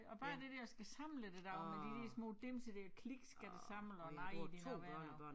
Og bare det der at skulle samle det der med de der små dimser der klik skal det samle og nej det noget værre noget